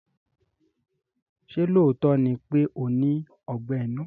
Ṣé lóòótọ́ ni pé ó ní Ọgbẹ́ inú?